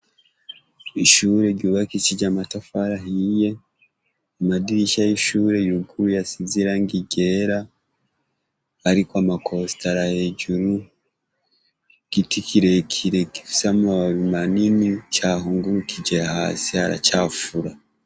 Ishure ryubakishije amatafari ahiye, amadirisha y'ishure yuguruye asize irangi ryera hariko ama kositara hejuru, igiti kirekire gifise amababi manini cahungurukije hasi, haracafura.